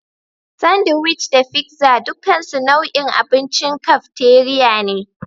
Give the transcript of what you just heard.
Sandiwic da figza dukansu nau'in abincin kafteriya ne.